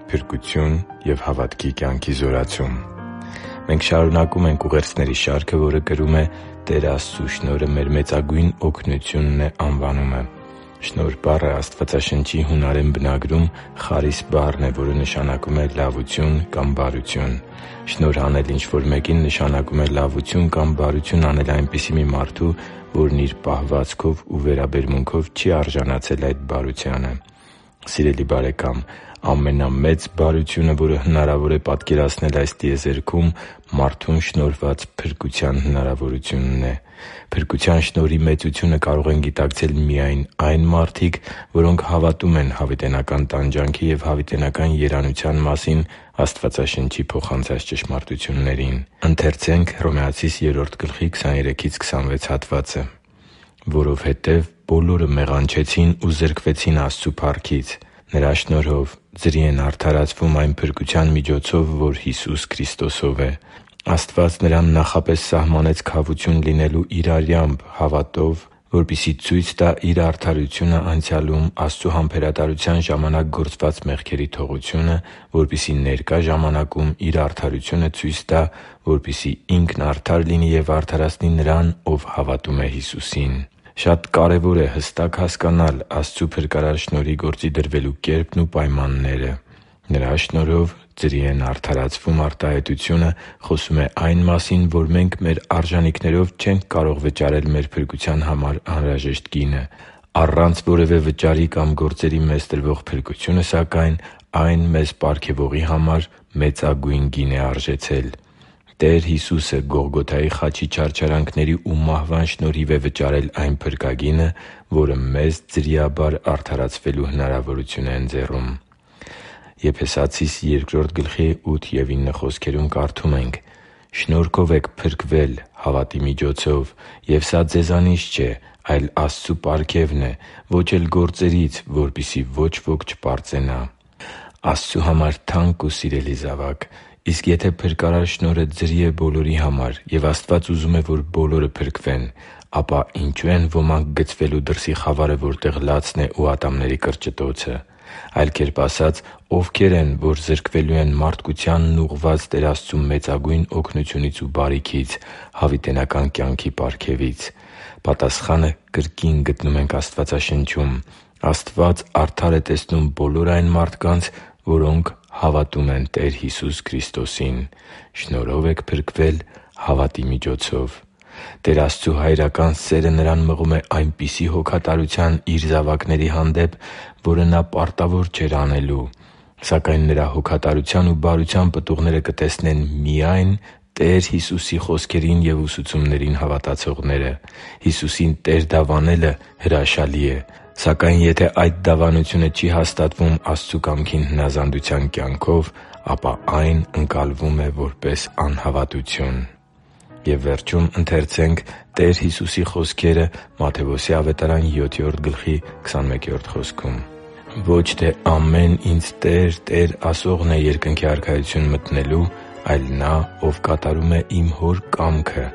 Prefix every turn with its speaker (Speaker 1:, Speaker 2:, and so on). Speaker 1: Փրկություն և հավատքի կյանքի զորացում Մենք շարունակում ենք ուղերձների շարքը որը կրում է «Տեր Աստծու շնորհը մեր մեծագույն օգնությունն է» անվանումը։ Շնորհ բառը Աստվածաշնչի հունարեն բնագրում «խարիս» բառն է, որը նշանակում է լավություն կամ բարություն։ Շնորհ անել ինչ-որ մեկին նշանակում է լավություն կամ բարություն անել այնպիսի մի մարդու, որն իր պահվածքով ու վերաբերմունքով չի արժանացել այդ բարությանը։ Սիրելի՛ բարեկամ, ամենամեծ բարությունը, որը հնարավոր է պատկերացնել այս տիեզերքում, մարդուն շնորհված փրկության հնարավորությունն է։ Փրկության շնորհի մեծությունը կարող են գիտակցել միայն այն մարդիկ, որոնք հավատում են հավիտենական տանջանքի և հավիտենական երանության մասին Աստվածաշնչի փոխանցած ճշմարտություններին։ «Որովհետև բոլորը մեղանչեցին ու զրկվեցին Աստծու փառքից։ Նրա շնորհով ձրի են արդարացվում այն փրկության միջոցով, որ Հիսուս Քրիստոսով է։ Աստված Նրան նախապես սահմանեց քավություն լինելու Իր արյամբ, հավատով, որպեսզի ցույց տա Իր արդարությունը անցյալում՝ Աստծու համբերատարության ժամանակ գործված մեղքերի թողությունը, որպեսզի ներկա ժամանակում Իր արդարությունը ցույց տա, որպեսզի Ինքն արդար լինի և արդարացնի նրան, ով հավատում է Հիսուսին» (Հռոմեացիս 3․23-26 ՆՎԱԱ): Շատ կարևոր է հստակ հասկանալ Աստծու փրկարար շնորհի գործի դրվելու կերպն ու պայմանները։ «Նրա շնորհով ձրի են արդարացվում» արտահայտությունը խոսում է այն մասին, որ մենք մեր արժանիքներով չենք կարող վճարել մեր փրկության համար անհրաժեշտ գինը։ Առանց որևէ վճարի կամ գործերի մեզ տրվող փրկությունը, սակայն, այն մեզ պարգևողի համար մեծագույն գին է արժեցել։ Տեր Հիսուսը Գողգոթայի խաչի չարչարանքների ու մահվան շնորհիվ վճարել է այն փրկագինը, որը մեզ ձրիաբար արդարացվելու հնարավորություն է ընձեռում։ «Շնորհով եք փրկվել հավատի միջոցով, և սա ձեզանից չէ, այլ Աստծու պարգևն է։ Ոչ էլ գործերից է, որպեսզի ոչ ոք չպարծենա» (Եփեսացիս 2․8-9 ՆՎԱԱ): Աստծու համար թանկ ու սիրելի՛ զավակ, իսկ եթե փրկարար շնորհը ձրի է բոլորի համար, և Աստված ուզում է, որ բոլորը փրկվեն, ապա ինչո՞ւ են ոմանք գցվելու դրսի խավարը, որտեղ լացն է ու ատամների կրճտոցը։ Այլ կերպ ասած՝ ովքե՞ր են, որ զրկվելու են մարդկությանն ուղղված Տեր Աստծու մեծագույն օգնությունից ու բարիքից՝ հավիտենական կյանքի պարգևից։ Պատասխանը կրկին գտնում ենք Աստվածաշնչում։ Աստված արդար է տեսնում բոլոր այն մարդկանց, որոնք հավատում են Տեր Հիսուս Քրիստոսին։ «Շնորհով եք փրկվել հավատի միջոցով․․․»։ Տեր Աստծու հայրական սերը Նրան մղում է այնպիսի հոգատարության Իր զավակների հանդեպ, որը Նա պարտավոր չէր անելու։ Սակայն Նրա հոգատարության ու բարության պտուղները կտեսնեն միայն Տեր Հիսուսի խոսքերին և ուսուցումներին հավատացողները։ Հիսուսին Տեր դավանելը հրաշալի է։ Սակայն եթե այդ դավանությունը չի հաստատվում Աստծու կամքին հնազանդության կյանքով, ապա այն ընկալվում է որպես անհավատություն․․․ «Ոչ թե ամեն Ինձ "Տե՛ր, Տե՛ր" ասողն է Երկնքի Արքայություն մտնելու, այլ նա, ով կատարում է Իմ Հոր կամքը,